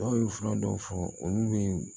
Dɔw ye fura dɔw fɔ olu bɛ